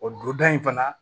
O don da in fana